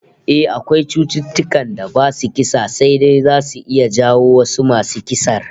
Eh, akwai cututtukan da basu kisa sai dai zasu iya jawo wasu masu kisar